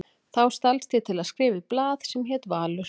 Þá stalst ég til að skrifa í blað sem hét Valur.